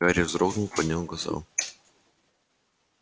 гарри вздрогнул поднял глаза